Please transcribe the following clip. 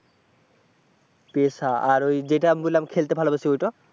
পেশা আর ওই যেটা বললাম খেলতে ভালোবাসি ওইটা?